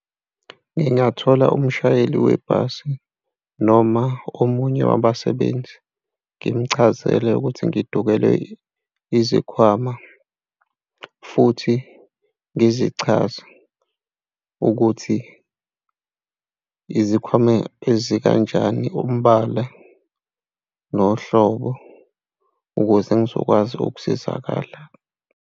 Ngingathola umshayeli webhasi noma omunye wabasebenzi ngimchazele ukuthi ngidukelwe izikhwama futhi ngizichaze ukuthi izikhwama ezikanjani umbala nohlobo ukuze ngizokwazi ukusizakala.